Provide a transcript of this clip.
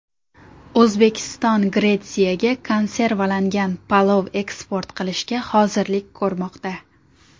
O‘zbekiston Gretsiyaga konservalangan palov eksport qilishga hozirlik ko‘rmoqda.